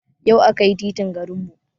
Yau aka yi titin garin mu